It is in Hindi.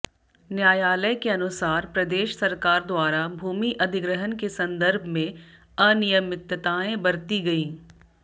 न्यायालय के अनुसार प्रदेश सरकार द्वारा भूमि अधिग्रहण के संदर्भ में अनियमितताएं बरती गईं